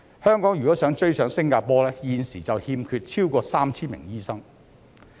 香港如果想追上新加坡，現時已欠缺超過 3,000 名醫生。